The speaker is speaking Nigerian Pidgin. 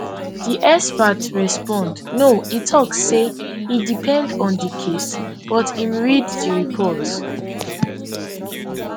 di expert respond no e tok say e depend on di case but im read di report